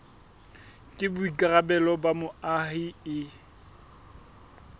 ke boikarabelo ba moahi e